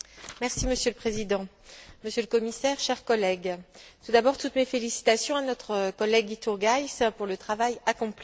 Monsieur le Président, Monsieur le Commissaire, chers collègues, j'adresse tout d'abord toutes mes félicitations à notre collègue Iturgaiz pour le travail accompli.